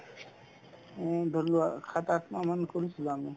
উম, ধৰিলোৱা সাত-আঠ মাহ মান কৰিছিলো আমি